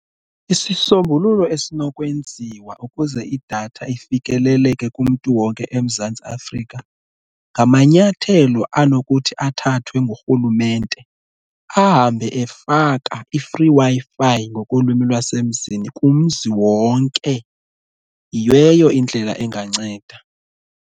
Isisombululo esinokwenziwa ukuze idatha ifikeleleke kumntu wonke eMzantsi Afrika ngamanyathelo anokuthi athathwe ngurhulumente ahambe efaka i-free Wi-Fi ngokolwimi lwasemzini kumzi wonke, yiyo eyo indlela enganceda.